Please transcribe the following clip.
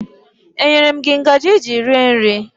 E nyere m gị ngaji iji rie nri?